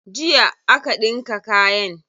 Jiya aka ɗinka kayan.